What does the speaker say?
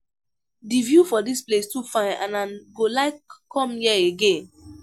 The view for dis place too fine and I go like come here again